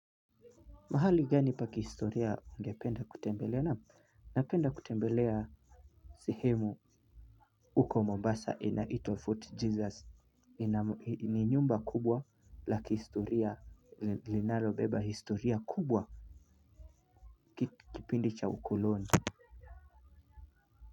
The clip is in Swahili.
Mahali gani pa kihistoria ungependa kutembelea naam napenda kutembelea. Sehemu huko mombasa inaitwa Fort Jesus. Ni nyumba kubwa la kihistoria linalobeba historia kubwa kipindi cha ukuloni.